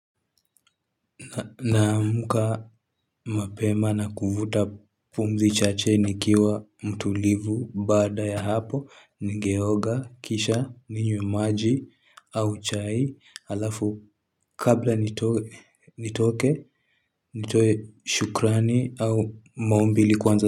Naamka mapema na kuvuta pumzi chache nikiwa mtulivu baada ya hapo, ningeoga, kisha, ninywe maji, au chai, alafu kabla nitoke, nitoe shukrani au maumbili kwanza.